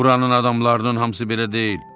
Buranın adamlarının hamısı belə deyil.